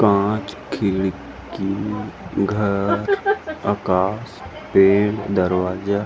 पांच खिड़की घर आकाश पेड़ दरवाजा--